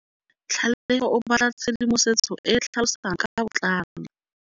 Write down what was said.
Tlhalefô o batla tshedimosetsô e e tlhalosang ka botlalô.